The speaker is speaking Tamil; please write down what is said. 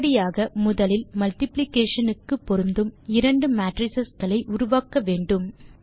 இப்படியாக முதலில் மல்டிப்ளிகேஷன் க்கு பொருந்தும் இரண்டு மேட்ரிஸ் களை உருவாக்க வேண்டும்